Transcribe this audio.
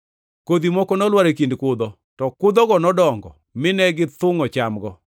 Kodhi moko nolwar e kind kudho, to kudhogo nodongo, mine githungʼo chamgo.